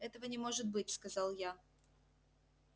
этого не может быть сказал я